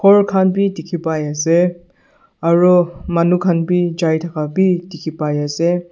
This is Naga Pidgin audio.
khor khan bi dikhipaiase aro manu khan bi jai thaka bi dikhipaiase.